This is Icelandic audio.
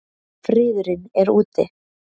Friðurinn er úti.